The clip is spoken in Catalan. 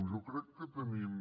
jo crec que tenim